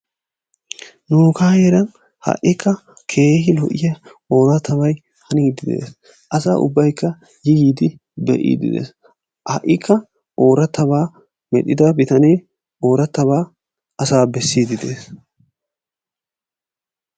nuugaa heeran ha'ikka keehi lo'iya ooratabay haniidi de'es. asa ubaykka be'iidi dees; ha'ikka oorataba medhida bitanee ooratabaa asaa besiidi de'ees.